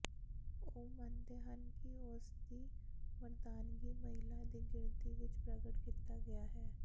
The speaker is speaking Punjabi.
ਉਹ ਮੰਨਦੇ ਹਨ ਕਿ ਉਸ ਦੀ ਮਰਦਾਨਗੀ ਮਹਿਲਾ ਦੀ ਗਿਣਤੀ ਵਿਚ ਪ੍ਰਗਟ ਕੀਤਾ ਗਿਆ ਹੈ